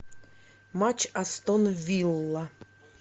матч астон вилла